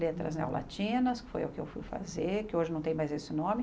Letras neolatinas, que foi o que eu fui fazer, que hoje não tem mais esse nome.